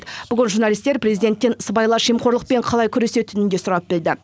бүгін журналистер президенттен сыбайлас жемқорлықпен қалай күресетінін де сұрап білді